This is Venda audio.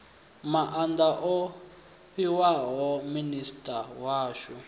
maanda o fhiwaho minisita washu